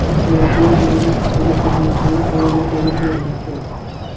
Voqea joyida qutqaruv xizmatlari faoliyat olib bormoqda.